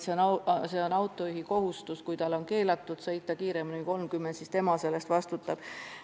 See on autojuhi kohustus, kui on keelatud sõita kiiremini 30 km/h, ja tema ise selle eest vastutab.